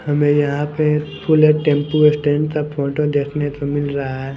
हमें यहां पे टेंपो स्टैंड का फोटो देखने को मिल रहा है।